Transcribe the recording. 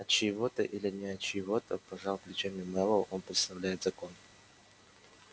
от чьего-то или не от чьего-то пожал плечами мэллоу он представляет закон